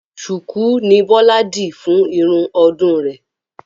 Ṣùkú ni Bọ́lá dì fún irun ọdún rè